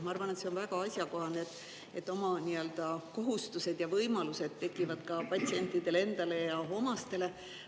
Ma arvan, et see on väga asjakohane, et oma kohustused ja võimalused tekivad ka patsientidele endale ja omastele.